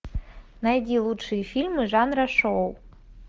найди лучшие фильмы жанра шоу